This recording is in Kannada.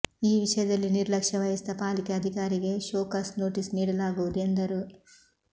ಈ ವಿಷಯದಲ್ಲಿ ನಿರ್ಲಕ್ಷ್ಯ ವಹಿಸಿದ ಪಾಲಿಕೆ ಅಧಿಕಾರಿಗೆ ಶೋಕಾಸ್ ನೋಟಿಸ್ ನೀಡಲಾಗುವುದು ಎಂದರು